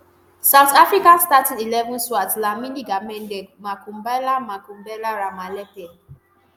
south africa starting eleven swart dlamini gamede makhubela makhubela ramalepe